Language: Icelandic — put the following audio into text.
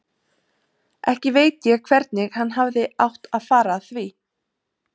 Ekki veit ég hvernig hann hefði átt að fara að því.